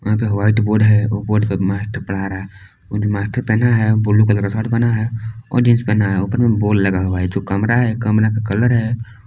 यहां पे white board है वो बोर्ड पे मास्टर पढ़ रहा है वो जो मास्टर पहना है ब्लू कलर का शर्ट पहना है और जींस पहना है और ऊपर बोर्ड लगा हुआ है जो कमरा है कमरा का कलर है।